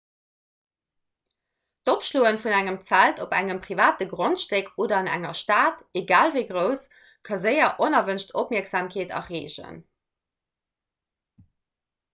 d'opschloe vun engem zelt op engem private grondstéck oder an enger stad egal wéi grouss ka séier onerwënscht opmierksamkeet erreegen